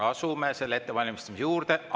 Asume selle ettevalmistamise juurde.